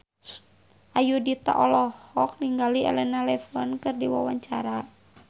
Ayudhita olohok ningali Elena Levon keur diwawancara